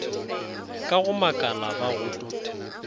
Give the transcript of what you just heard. ka go makala ba go